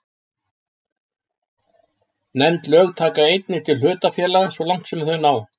Nefnd lög taka einnig til hlutafélaga svo langt sem þau ná.